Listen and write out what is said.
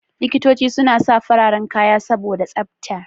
Likitoci suna sa fararen kaya saboda tsafta.